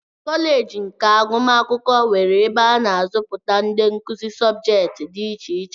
Kọleeji nke agụmakwụkwọ nwere ebe a na azụpụta ndị nkụzi subjeeti dị iche iche.